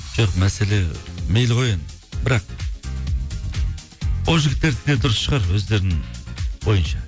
жоқ мәселе мейлі ғой енді бірақ ол жігіттердікі де дұрыс шығар өздерінің ойынша